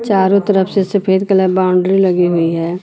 चारों तरफ से सफेद कलर बाउंड्री लगी हुई है।